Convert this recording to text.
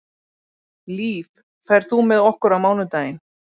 Líf, ferð þú með okkur á mánudaginn?